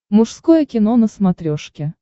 мужское кино на смотрешке